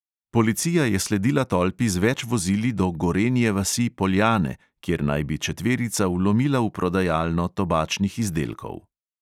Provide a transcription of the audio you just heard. Policija je sledila tolpi z več vozili do gorenje vasi - poljane, kjer naj bi četverica vlomila v prodajalno tobačnih izdelkov.